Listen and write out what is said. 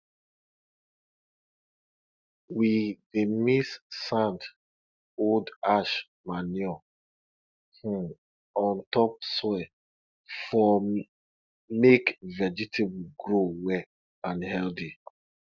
we dey mix sand old ash manure um on top soil for make vegetables grow well and healthy